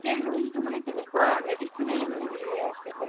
গোটেই room টো মানে তেকেনুৱা medicine ৰে মানে হেৰি হৈ আছিলে